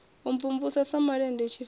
u mvumvusa sa malende tshifase